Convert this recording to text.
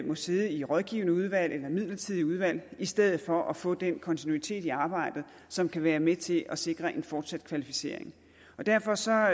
må sidde i rådgivende udvalg eller midlertidige udvalg i stedet for at få den kontinuitet i arbejdet som kan være med til at sikre en fortsat kvalificering derfor ser